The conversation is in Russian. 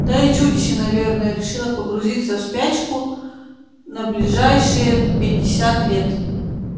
да и чудище наверное решило погрузиться в спячку на ближайшие пятьдесят лет